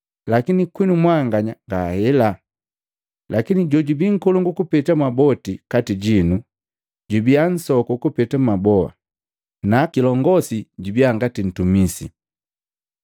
Lakini kwinu mwanganya ngahela, lakini jojubii nkolongu kupeta mwaboti kati jinu, jubiya nsoku kupeta mwaboa, na kilongosi jubia ngati ntumisi.